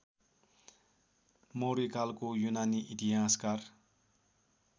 मौर्यकालको युनानी इतिहासकार